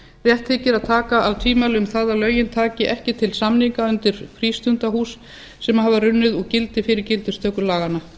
rétt þykir að taka af tvímæli um það að lögin taki ekki til samninga undir frístundahús sem hafa runnið úr gildi fyrir gildistöku laganna